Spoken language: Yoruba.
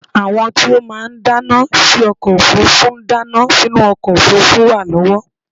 àwọn tí ó máà ń dáná sí ọkọ òfurufú ń dáná sínú ọkọ òfurufú wa lọwọ